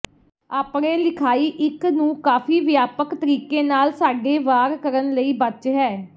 ਆਪਣੇ ਲਿਖਾਈ ਇੱਕ ਨੂੰ ਕਾਫੀ ਵਿਆਪਕ ਤਰੀਕੇ ਨਾਲ ਸਾਡੇ ਵਾਰ ਕਰਨ ਲਈ ਬਚ ਹੈ